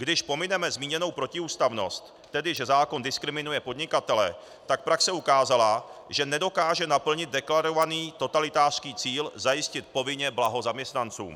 Když pomineme zmíněnou protiústavnost, tedy že zákon diskriminuje podnikatele, tak praxe ukázala, že nedokáže naplnit deklarovaný totalitářský cíl - zajistit povinně blaho zaměstnancům.